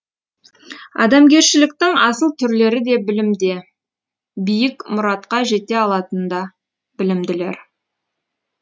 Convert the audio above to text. адамгершіліктің асыл түрлері де білімде биік мұратқа жете алатын да білімділер